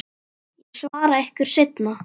Ég svara ykkur seinna.